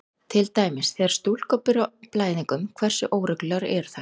Til dæmis: Þegar stúlkur byrja á blæðingum, hversu óreglulegar eru þær?